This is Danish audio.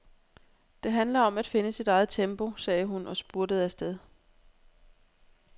Det handler om at finde sit eget tempo, sagde hun og spurtede afsted.